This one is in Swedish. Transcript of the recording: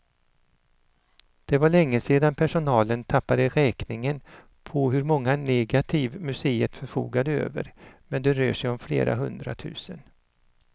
Det var länge sedan personalen tappade räkningen på hur många negativ museet förfogar över, men det rör sig om flera hundra tusen.